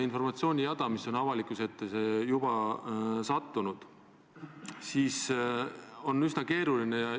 NATO-sisene ühtsus on väga tähtis ja see on kindlasti meie julgeoleku garant.